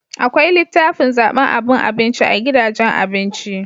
akwai litafin zaban aban abinci a gidajen abinci